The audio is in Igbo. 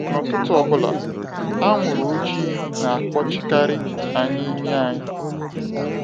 N'ụtụtụ ọbụla, anwụrụ ojiii na akpọchi karị anyị imi anyị.